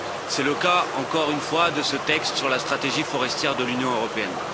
C'est le cas, encore une fois de ce texte sur la stratégie forestière de l'Union européenne.